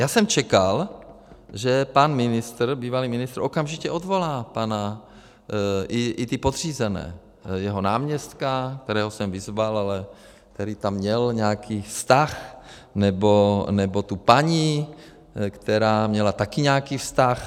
Já jsem čekal, že pan ministr, bývalý ministr, okamžitě odvolá pana, i ty podřízené, jeho náměstka, kterého jsem vyzval, ale který tam měl nějaký vztah, nebo tu paní, která měla taky nějaký vztah.